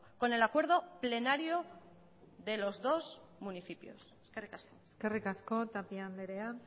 con el acuerdo plenario de los dos municipios eskerrik asko eskerrik asko tapia andrea